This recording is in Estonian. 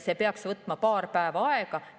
See peaks võtma paar päeva aega.